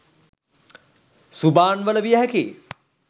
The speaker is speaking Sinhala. සුබාන් වල විය හැකියි